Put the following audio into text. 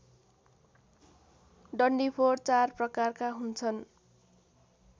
डन्डीफोर चार प्रकारका हुन्छन्